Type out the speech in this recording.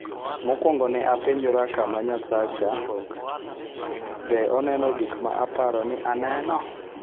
Mokwongo ne apenjora kama, ' Nyasacha - be aneno gik ma aparo ni aneno?